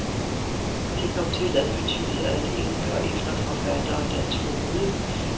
Det kom til at betyde, at enker efter forfattere, der troede